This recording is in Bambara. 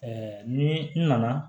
ni n nana